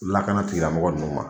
Lakana tigila mɔgɔ ninnu ma.